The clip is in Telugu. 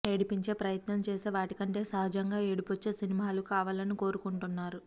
ఏడిపించే ప్రయత్నం చేసే వాటికంటే సహజంగా ఏడుపోచ్చే సినిమాలు కావాలని కోరుకుంటున్నారు